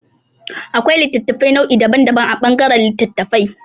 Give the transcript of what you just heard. Akwai littattafai nau'i daban daban a ɓangaran littattafai.